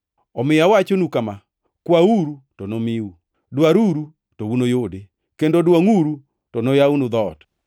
“Omiyo awachonu kama: Kwauru to nomiu; dwaruru to unuyudi kendo dwongʼuru to noyawnu dhoot.